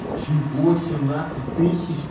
чего семнадцать тысяч